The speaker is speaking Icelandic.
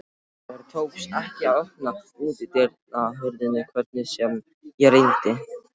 Mér tókst ekki að opna útidyrahurðina hvernig sem ég reyndi.